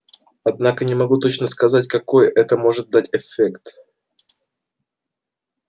однако не могу точно сказать какой это может дать эффект